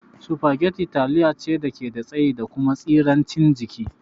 Spaghetti taliya ce dake da tsayi da kuma tsirancin jiki